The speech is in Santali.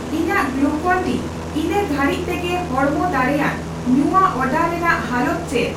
ᱤᱧᱟᱜ ᱜᱞᱩᱠᱚᱱᱼᱰᱤ ᱤᱱᱟᱹ ᱜᱷᱟᱹᱲᱤᱡ ᱛᱮᱜᱮ ᱦᱚᱲᱢᱚ ᱫᱟᱲᱮᱭᱟᱱ ᱧᱩᱣᱟᱹᱜ ᱚᱰᱟᱨ ᱨᱮᱱᱟᱜ ᱦᱟᱞᱚᱛ ᱪᱮᱫ ᱾